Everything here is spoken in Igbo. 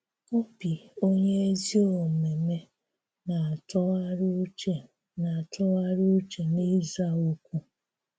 “Óbì onye ézí òmèmé na-átụ̀gharì ùchè na-átụ̀gharì ùchè n’íza òkwú.”